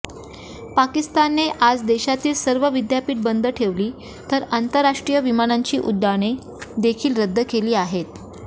पाकिस्ताने आज देशातील सर्व विद्यापीठ बंद ठेवली तर आंतराष्ट्रीय विमानाची उड्डाणे देखील रद्द केली आहेत